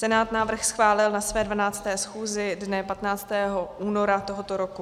Senát návrh schválil na své 12. schůzi dne 15. února tohoto roku.